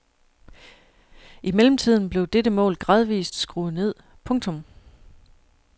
I mellemtiden blev dette mål gradvist skruet ned. punktum